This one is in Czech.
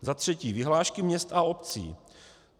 Za třetí vyhlášky měst a obcí.